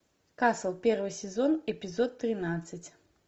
касл первый сезон эпизод тринадцать